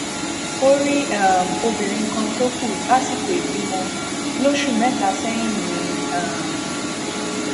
orí um obìnrin kan tó kú lásìkò ìbímọ lóṣù mẹta sẹyìn ni um